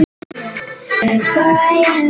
Ég skil það.